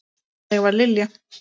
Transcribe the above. Þannig var Lilja.